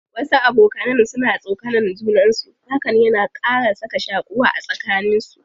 Wasu abokanan suna tsokanan juna, hakan yana ƙara sa ka shaƙuwa a tsakanin su.